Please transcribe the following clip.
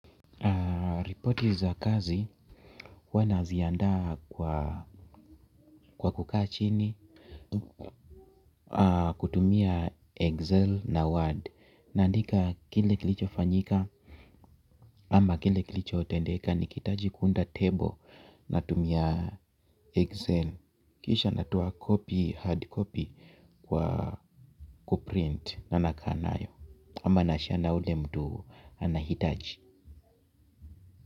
Ripoti za kazi huwa naziandaa kwa kukaa chini, kutumia Excel na Word. Nandika kile kilicho fanyika ama kile kilicho tendeka nikiitaji kuunda table natumia Excel. Kisha natoa copy hard copy kwa kuprint na nakaa nayo. Ama nashare yule mtu anahitaji.